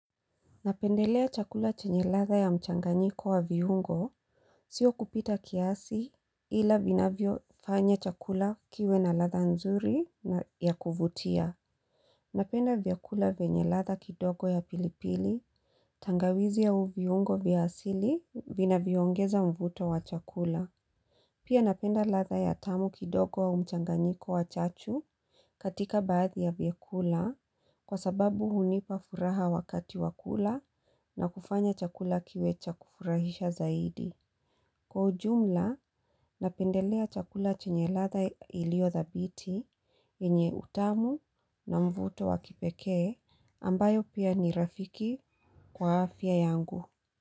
Napendelea chakula chenye ladha ya mchanganyiko wa viungo, sio kupita kiasi ila vinavyofanya chakula kiwe na ladha nzuri na ya kuvutia. Napenda vyakula vyenye ladha kidogo ya pilipili, tangawizi au viungo vya asili vinavyoongeza mvuto wa chakula. Pia napenda ladha ya tamu kidogo au mchanganyiko wa chachu katika baadhi ya vyakula kwa sababu hunipa furaha wakati wa kula na kufanya chakula kiwe cha kufurahisha zaidi. Kwa ujumla, napendelea chakula chenye ladha iliyo thabiti yenye utamu na mvuto wa kipekee ambayo pia ni rafiki kwa afya yangu.